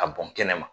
A bɔn kɛnɛ ma